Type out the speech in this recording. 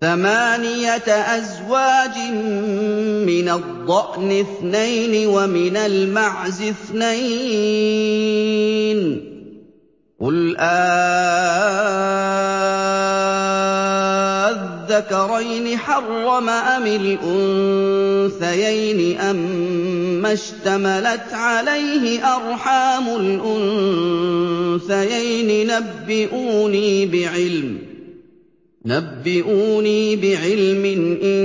ثَمَانِيَةَ أَزْوَاجٍ ۖ مِّنَ الضَّأْنِ اثْنَيْنِ وَمِنَ الْمَعْزِ اثْنَيْنِ ۗ قُلْ آلذَّكَرَيْنِ حَرَّمَ أَمِ الْأُنثَيَيْنِ أَمَّا اشْتَمَلَتْ عَلَيْهِ أَرْحَامُ الْأُنثَيَيْنِ ۖ نَبِّئُونِي بِعِلْمٍ إِن